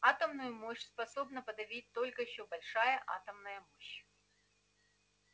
атомную мощь способна подавить только ещё большая атомная мощь